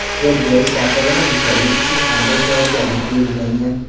Yer berish tartibini buzganlik uchun qanday javobgarlik belgilangan?.